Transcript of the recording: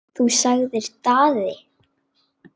Þú, sagði Daði.